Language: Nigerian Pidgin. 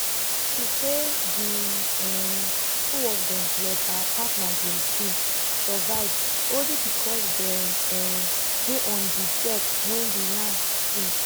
she say di um two of dem plus her partner james bin survive only becos dem um dey on di deck wen di yacht sink